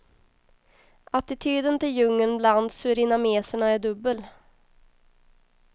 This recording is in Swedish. Attityden till djungeln bland surinameserna är dubbel.